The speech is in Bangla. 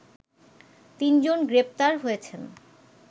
তিনজন গ্রেপ্তার হয়েছেন